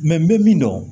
n bɛ min dɔn